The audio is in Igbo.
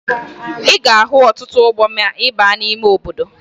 Ị ga-ahụ ọtụtụ ugbo ma ị baa n'ime obodo